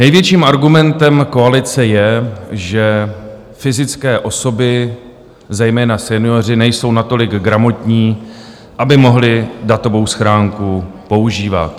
Největším argumentem koalice je, že fyzické osoby, zejména senioři, nejsou natolik gramotní, aby mohli datovou schránku používat.